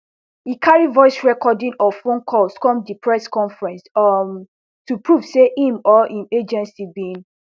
e carry voice recording of phone calls come di press conference um to prove say im or im agency bin